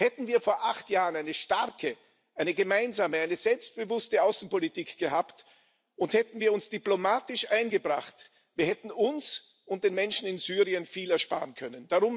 Hätten wir vor acht Jahren eine starke, eine gemeinsame, eine selbstbewußte Außenpolitik gehabt und hätten wir uns diplomatisch eingebracht, wir hätten uns und den Menschen in Syrien viel ersparen können.